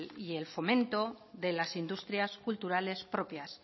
y el fomento de las industrias culturales propias